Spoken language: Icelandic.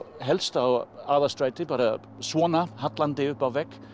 helst á Aðalstræti bara svona hallandi upp að vegg